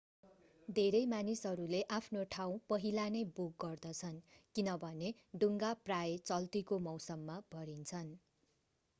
धेरै मानिसहरूले आफ्नो ठाँउ पहिला नै बुक गर्दछन् किनभने डुङ्गा प्रायः चल्तिको मौसममा भरिन्छन्।